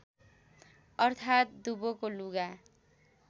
अर्थात् दुवोको लुगा